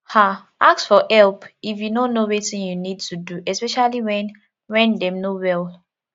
um ask for help if you no know wetin you need to do especially when when dem no well